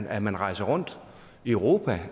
at man rejser rundt i europa